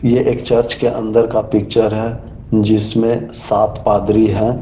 ये एक चर्च के अंदर का पिक्चर है जिसमें सात पादरी है।